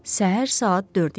Səhər saat 4 idi.